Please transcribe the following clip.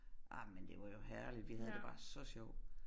Ej men det var jo herligt vi havde det bare så sjovt